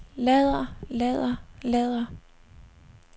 lader lader lader